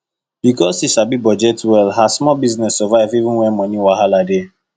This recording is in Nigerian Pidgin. because she sabi budget well her small business survive even when money wahala dey